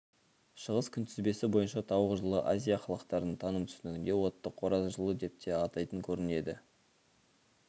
шығыс күнтізбесі бойынша тауық жылы азия халықтарының таным түсінігінде отты қораз жылы деп те атайтын көрінеді